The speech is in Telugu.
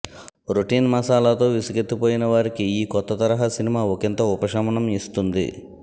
రొటీన్ మసాలాతో విసుగెత్తిపోయిన వారికి ఈ కొత్త తరహా సినిమా ఒకింత ఉపశమనం ఇస్తుంది